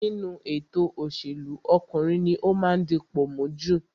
Nínú ètò òṣèlú, ọkùnrin ní ó máa ń dipò mú jù